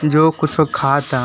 जो कुछ सब खात हैं।